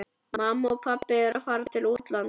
Mamma og pabbi eru að fara til útlanda.